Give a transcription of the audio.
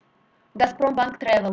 газпромбанк трэвэл